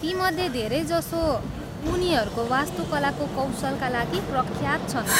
तीमध्ये धेरैजसो उनीहरूको वास्तुकलाको कौशलका लागि प्रख्यात छन्।